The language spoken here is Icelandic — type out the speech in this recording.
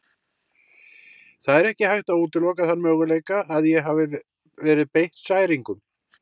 Það er ekki hægt að útiloka þann möguleika að ég hafi verið beitt særingum.